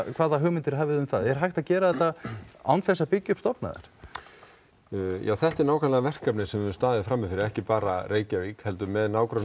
hvaða hugmyndir hafið þið um það er hægt að gera þetta án þess að byggja upp stofnæðar þetta er nákvæmlega verkefnið sem við staðið frammi fyrir ekki bara Reykjavík heldur með